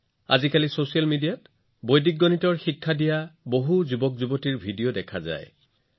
আজিকালি আপুনি নিশ্চয় এনে বহুতো যুৱকযুৱতীৰ ভিডিঅ দেখিছে যিসকলে ছচিয়েল মিডিয়াত বৈদিক গণিত শিকে আৰু শিকায়